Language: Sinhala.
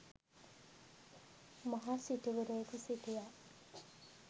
මහා සිටුවරයෙකු සිටියා.